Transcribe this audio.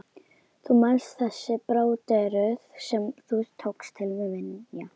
Þú manst, þessi bróderuðu sem þú tókst til minja.